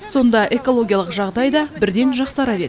сонда экологиялық жағдай да бірден жақсарар еді